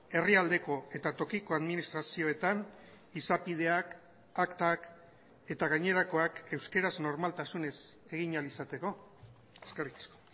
herrialdeko eta tokiko administrazioetan izapideak aktak eta gainerakoak euskaraz normaltasunez egin ahal izateko eskerrik asko